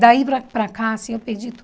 Daí para para cá assim eu perdi tudo.